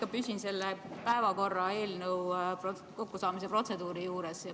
Ma püsin ikka selle päevakorra projekti kokkusaamise protseduuri juures.